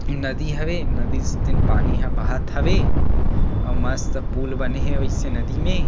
इ नदी हवे नदी से तेन पानी ह बहत हवे आऊ मस्त पुल बने हे वईसे नदी में--